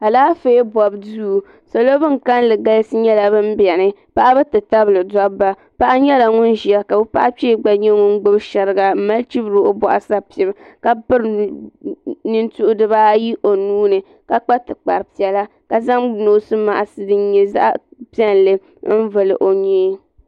Alaafee bobu duu salo bin kalli galisi nyɛla ban biɛni paɣaba yi tabili dobba paɣa nyɛla ŋun ʒia ka o paɣa kpee gba nyɛ ŋun gbibi sheriga m mali chibiri o boɣu sapim ka piri nintuhi dibaayi o nuuni ka kpa tikpari piɛla ka zaŋ noosi maaki din nyɛ zaɣa piɛlli n vili o nyee.